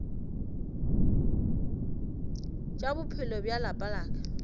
tša bophelo bja lapa la